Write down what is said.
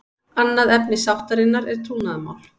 Annað efni sáttarinnar er trúnaðarmál